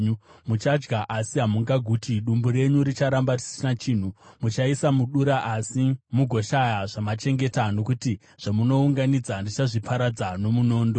Muchadya asi hamungaguti: dumbu renyu richaramba risina chinhu. Muchaisa mudura asi mugoshaya zvamachengeta, nokuti zvamunounganidza ndichazviparadza nomunondo.